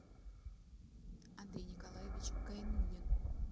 андрей николаевич гайнулин